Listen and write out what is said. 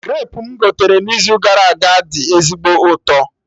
Grapu mụ gotere n'izu gara aga dị ezigbo ụtọ